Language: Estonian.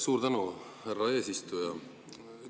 Suur tänu, härra eesistuja!